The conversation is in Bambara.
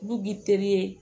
N'u b'i teri ye